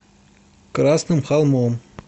красным холмом